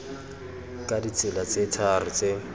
ka ditsela tse tharo tse